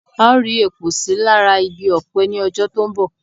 A ó rí èpò sí lára igi Ọ̀pẹ ní ọjọ́ tó ń bọ̀